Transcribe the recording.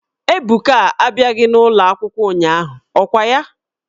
Ebuka a bịaghị n'ụlọ akwụkwọ ụnyahụ, ọ kwa ya?